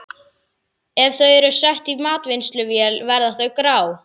Ef þau eru sett í matvinnsluvél verða þau grá.